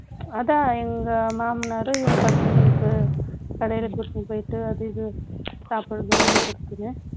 அதான், எங்க மாமனாரும், இவங்க பசங்களுக்கு, கடையிலே கூட்டினு போயிட்டு, அது, இது, சாப்பிடுறதும், வாங்கிக் கொடுத்தது